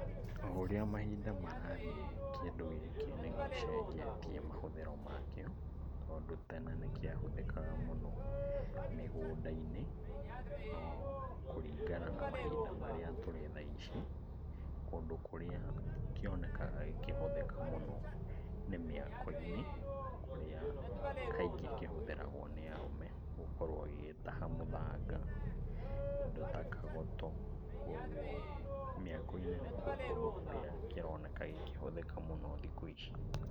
O ũrĩa mahinda marathiĩ kĩndũ gĩkĩ nĩgĩcenjetia mahũthĩro makĩo, tondũ tene nĩ kĩahũthĩkaga mũno mĩgũnda-inĩ, no kũringana na mahinda marĩa tũrĩ thaa ici, kũndũ kũrĩa kĩonekaga gĩkĩhũthĩka mũno nĩ mĩako-inĩ, kũrĩa kaingĩ kĩhũthĩragwo nĩ arũme gũkorwo gĩgĩtaha mũthanga, indo ta kagoto, kuoguo mĩako-inĩ nĩkuo kũndũ kũrĩa kĩroneka gĩkĩhũthĩka mũno thikũ ici.